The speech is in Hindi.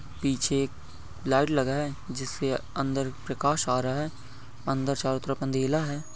पीछे एक लाइट लगा है जिससे अंदर प्रकाश आ रहा है अंदर चारो तरफ अंधेरा है।